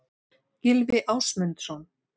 Gylfi Ásmundsson.